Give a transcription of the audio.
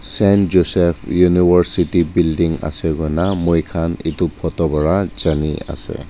Saint Joseph University building ase koina moikan eto photo pata jani ase.